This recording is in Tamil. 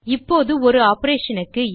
இப்போது ஒரு ஆப்பரேஷன் க்கு ஆ